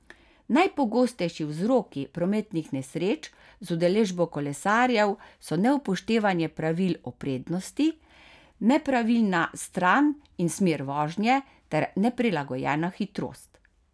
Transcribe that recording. Najpogostejši vzroki prometnih nesreč z udeležbo kolesarjev so neupoštevanje pravil o prednosti, nepravilna stran in smer vožnje ter neprilagojena hitrost.